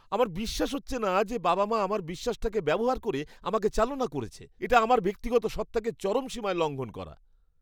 আমার বিশ্বাস হচ্ছে না যে বাবা মা আমার বিশ্বাসটাকে ব্যবহার করে আমাকে চালনা করেছে। এটা আমার ব্যক্তিগত সত্ত্বাকে চরম সীমায় লঙ্ঘন করা।